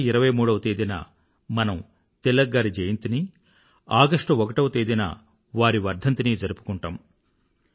July ఇరవై మూడవ తేదీన మనం తిలక్ గారి జయంతినీ ఆగష్టు ఒకటవ తేదీన వారి వర్థంతినీ జరుపుకుంటాము